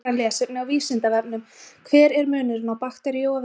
Frekara lesefni á Vísindavefnum Hver er munurinn á bakteríu og veiru?